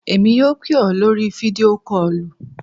Èmi yóò pè ọ́ lórí video call.